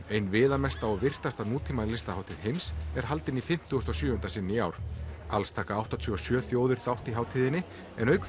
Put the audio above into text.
ein viðamesta og virtasta heims er haldin í fimmtugasta og sjöunda sinn í ár alls taka áttatíu og sjö þjóðir þátt í hátíðinni en auk